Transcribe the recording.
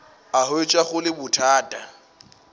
a hwetša go le bothata